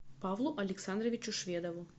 павлу александровичу шведову